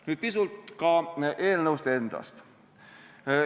Nüüd pisut ka eelnõust endast.